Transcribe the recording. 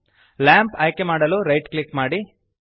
lamp ಆಯ್ಕೆಮಾಡಲು right click ಮಾಡಿ